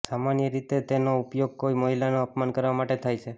સામાન્યરીતે તેનો ઉપયોગ કોઈ મહિલાનો અપમાન કરવા માટે થાય છે